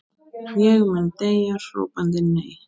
Ég mun deyja hrópandi nei.